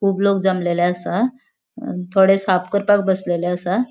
खूब लोग जमलेले आसा अ थोड़े साफ करपाक बसलेले आसा.